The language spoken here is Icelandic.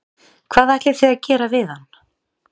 Hvað ætlið þið að gera við hann?